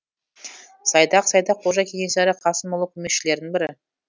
сайдақ сайдақ қожа кенесары қасымұлы көмекшілерінің бірі